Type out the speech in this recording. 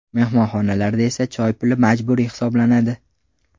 Mehmonxonalarda esa choy puli majburiy hisoblanadi.